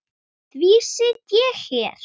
Því sit ég hér.